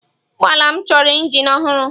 Ụgbọ ala m chọrọ injin ọhụrụ.